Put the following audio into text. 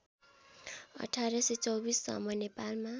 १८२४ सम्म नेपालमा